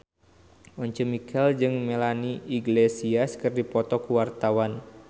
Once Mekel jeung Melanie Iglesias keur dipoto ku wartawan